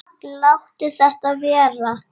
Láttu þetta vera!